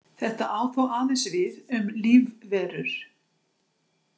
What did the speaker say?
Þetta á þó aðeins við um lífverur.